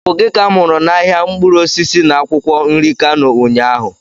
Ọ bụ gị ka m hụrụ na ahịa mkpụrụ osisi na akwụkwọ nri Kano ụnyaahụ?